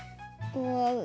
og